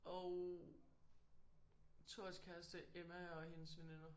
Og Thors kæreste Emma og hendes veninder